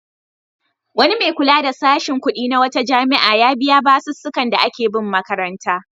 Wani mai kula da sashin kuɗi na wata jami'a ya biya basussukan da ake bin makaranta.